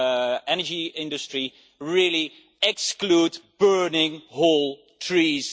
the energy industry really exclude burning whole trees.